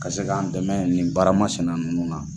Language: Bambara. Ka se k'an dɛmɛ nin baara ma sinɛ ninnu na.